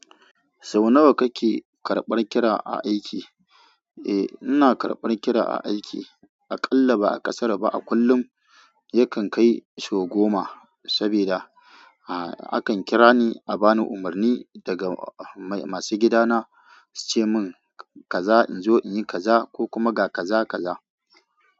Sau nawa kake karɓar kira a aiki? Eh, ina karɓar kira a aiki. Aƙalla ba a kasara ba a kullum yakan kai sau goma, saboda akan kira ni a bani umarni daga masu gidana su ce min kaza in zo in yi kaza ko kuma ga kaza kaza.